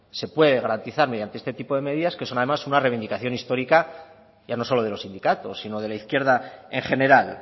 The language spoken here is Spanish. se puede garantizar mediante este tipo de medidas que son además una reivindicación histórica ya no solo de los sindicatos sino de la izquierda en general